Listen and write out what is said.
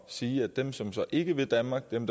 sige at dem som ikke vil danmark dem